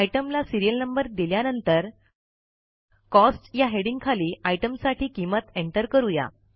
आयटमला serial number दिल्यानंतर cost या हेडिंगखाली आयटमसाठी किंमत एंटर करूया